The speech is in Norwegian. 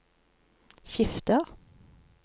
skifter